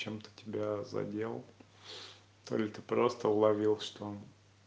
чем-то тебя задел то ли ты просто уловил что он